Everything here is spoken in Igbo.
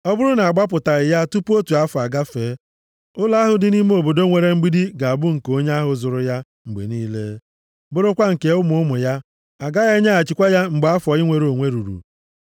Ọ bụrụ na a gbapụtaghị ya tupu otu afọ agafee, ụlọ ahụ dị nʼime obodo nwere mgbidi ga-abụ nke onye ahụ zụrụ ya mgbe niile, bụrụkwa nke ụmụ ụmụ ya. A gaghị enyeghachikwa ya mgbe afọ inwere onwe ruru.